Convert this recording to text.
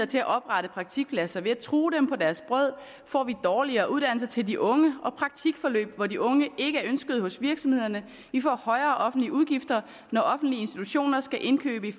til at oprette praktikpladser ved at true dem på deres brød får vi dårligere uddannelser til de unge og praktikforløb hvor de unge ikke er ønsket hos virksomheden vi får højere offentlige udgifter når offentlige institutioner skal indkøbe i